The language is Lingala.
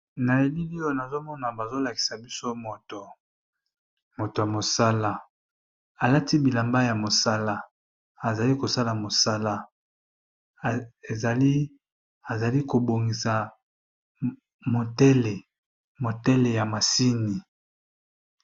Na elili oyo nazo mona bazo lakisa biso moto , moto ya mosala a lati bilamba ya mosala, a zali ko sala mosala, e zali a zali ko bongisa motele, motele ya machini .